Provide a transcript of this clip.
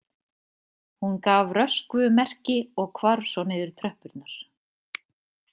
Hún gaf Röskvu merki og hvarf svo niður tröppurnar.